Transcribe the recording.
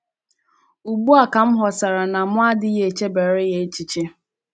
Ugbu a ka m ghọtara na mụ adịghị echebara ya echiche. ”